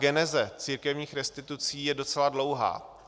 Geneze církevních restitucí je docela dlouhá.